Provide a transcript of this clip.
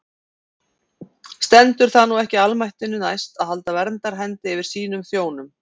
Stendur það nú ekki almættinu næst að halda verndarhendi yfir sínum þjónum?